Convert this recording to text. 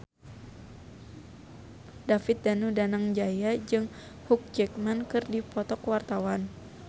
David Danu Danangjaya jeung Hugh Jackman keur dipoto ku wartawan